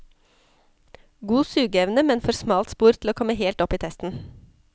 God sugeevne, men for smalt spor til å komme helt opp i testen.